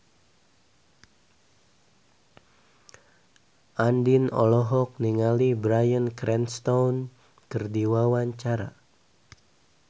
Andien olohok ningali Bryan Cranston keur diwawancara